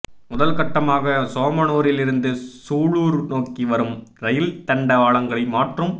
முதல் கட்டமாக சோமனுாரில் இருந்து சூலுார் நோக்கி வரும் ரயில் தண்டவாளங்களை மாற்றும்